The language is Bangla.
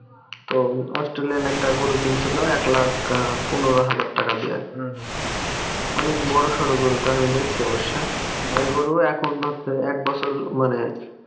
তো Australian একটা গরু কিনছিল এক লাখ আহ পনেরো হাজার টাকা দিয়ে অনেক বড়ো সরো গরুটা আমি দেখছি অবশ্য ওই গরু এখন হচ্ছে এক বছর মানে